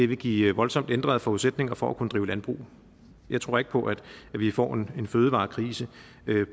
vil give voldsomt ændrede forudsætninger for at kunne drive landbrug jeg tror ikke på at vi får en fødevarekrise